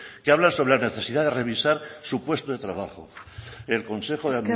que hablan sobre la necesidad de revisar su puesto de trabajo el consejo de